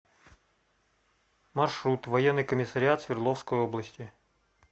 маршрут военный комиссариат свердловской области